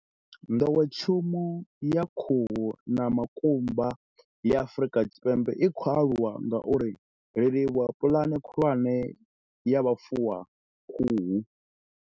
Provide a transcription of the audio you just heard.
Nḓowetshumo ya khuhu na makumba ya Afrika Tshipembe i khou aluwa ngauralo ri livhuwa Puḽane Khulwane ya Vhufuwakhuhu.